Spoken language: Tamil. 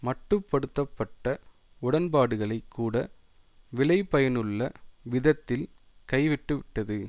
மட்டு படுத்த பட்ட உடன்பாடுகளை கூட விளைபயனுள்ள விதத்தில் கைவிட்டுவிட்டது